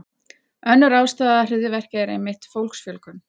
Önnur ástæða hryðjuverka er einmitt fólksfjölgun.